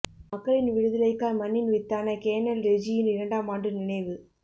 மக்களின் விடுதலைக்காய் மண்ணின் வித்தான கேணல் ரெஜியின் இரண்டாம் ஆண்டு நினைவு